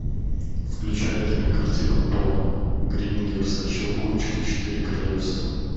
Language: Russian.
включай кинокартину пола гринграсса щелкунчик и четыре королевства